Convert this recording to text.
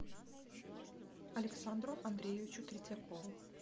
александру андреевичу третьякову